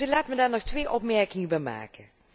Laat mij daar nog twee opmerkingen bij maken.